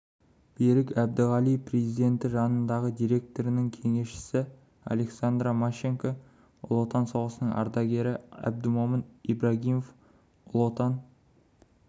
берік әбдіғали президенті жанындағы директорының кеңесшісі александра мащенко ұлы отан соғысының ардагері әбдімомын ибрагимов ұлы отан